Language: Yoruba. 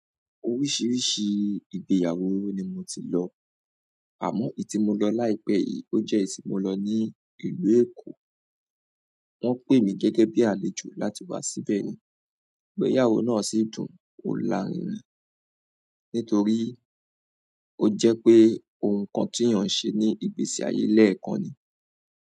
Oríṣiríṣi ìgbéyàwó ni mo ti lọ, àmọ́ èyí tí mo lọ láìpẹ́ yìí, ó jẹ́ èyí tí mo lọ ní ìlú Èkó. Wọ́n pè mí gẹ́gẹ́ bí àlejò láti wá síbẹ̀ ni, igbẹ̀yàwó náà sì dùn ò láàrínrin, nítorí ó jẹ́ pé ohun kan tí èèyàn ń ṣe ní ìgbésí ayé lẹ́ẹ̀kan ni.